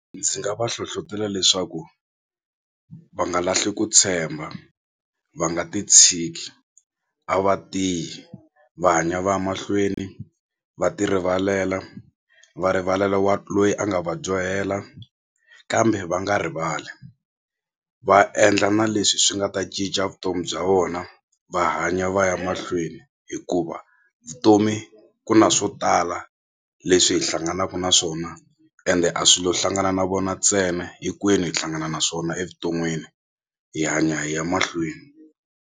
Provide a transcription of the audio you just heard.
Ndzi nga va hlohlotela leswaku va nga lahli ku tshemba va nga ti tshiki a va tiyi va hanya va ya mahlweni va ti rivalela va rivalela wa loyi a nga va dyohela kambe va nga rivali va endla na leswi swi nga ta cinca vutomi bya vona va hanya va ya mahlweni hikuva vutomi ku na swo tala leswi hi hlanganaku na swona ende a swilo hlangana na vona ntsena hinkwenu hi hlangana na swona evuton'wini hi hanya hi ya mahlweni.